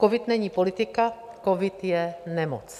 Covid není politika, covid je nemoc.